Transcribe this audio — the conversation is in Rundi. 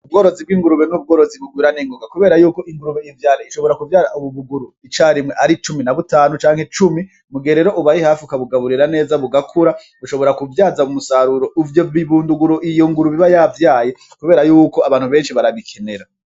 Ubworozi bw'ingurube ni ubworozi bugwira ningoga kubera yuko iyo ivyaye ishobora kuvyara ibibuguru ica rimwe ari cumi na butanu canke cumi, mugihe rero ubaye hafi ukabugaburira neza bugakura bushobora kuvyaza umusaruro ivyo bibunduguru iyo ngurube iba yavyaye kubera yuko abantu benshi barabikenera.